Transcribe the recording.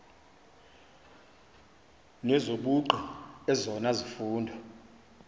nezobugqi ezona zifundo